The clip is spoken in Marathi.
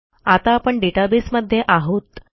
आता आपण डेटाबेस मध्ये आहोत